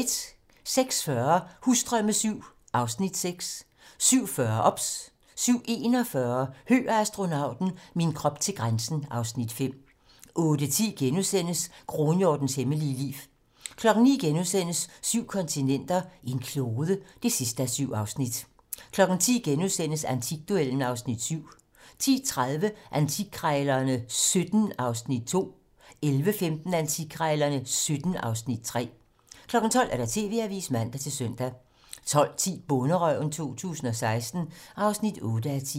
06:40: Husdrømme VII (Afs. 6) 07:40: OBS 07:41: Høgh og astronauten - min krop til grænsen (Afs. 5) 08:10: Kronhjortens hemmelige liv * 09:00: Syv kontinenter, en klode (7:7)* 10:00: Antikduellen (Afs. 7)* 10:30: Antikkrejlerne XVII (Afs. 2) 11:15: Antikkrejlerne XVII (Afs. 3) 12:00: TV-Avisen (man-søn) 12:10: Bonderøven 2016 (8:10)